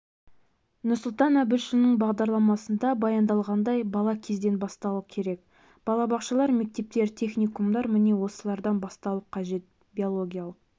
нұрсұлтан әбішұлының бағдарламасында баяндалғандай бала кезден басталу керек балабақшалар мектептер техникумдар міне осылардан басталуы қажет биологиялық